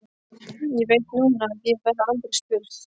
Ég veit núna að ég verð aldrei spurð.